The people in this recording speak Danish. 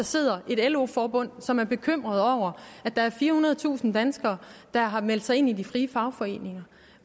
sidder et lo forbund som er bekymret over at der er firehundredetusind danskere der har meldt sig ind i de frie fagforeninger